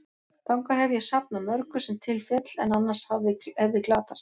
Þangað hef ég safnað mörgu, sem til féll, en annars hefði glatast.